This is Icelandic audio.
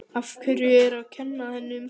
Af hverju að kenna henni um það?